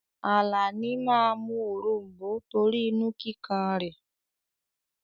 Àlàní máa mú òrom̀bó torí inú kíkan rẹ̀.